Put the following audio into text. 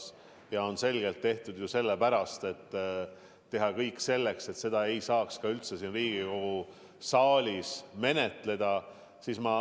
Need ettepanekud on selgelt esitatud sellepärast, et teha kõik selleks, et eelnõu ei saaks üldse siin Riigikogu saalis menetleda.